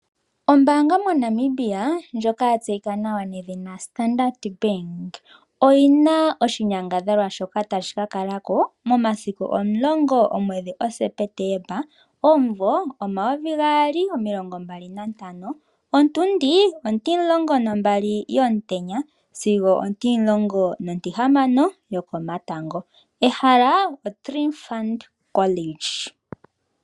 Ombaanga moNamibia ndjoka ya tseyika nawa nedhina Standard bank oyina oshinyangadhalwa shoka tashi ka kalako momasiku 10 September 2024 okuza po12 sigo 16 yokomatango, ehala okoTriphumt college.